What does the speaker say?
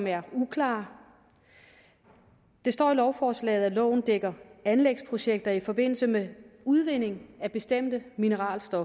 er uklare der står i lovforslaget at loven dækker anlægsprojekter i forbindelse med udvinding af bestemte mineralske